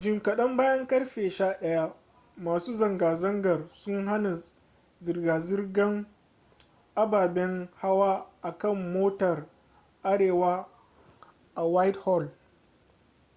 jim kadan bayan karfe 11:00 masu zanga-zangar sun hana zirga-zirgar ababen hawa a kan motar arewa a whitehall